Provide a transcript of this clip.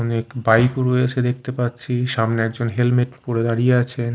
অনেক বাইক ও রয়েছে দেখতে পাচ্ছি সামনে একজন হেলমেট পরে দাঁড়িয়ে আছে।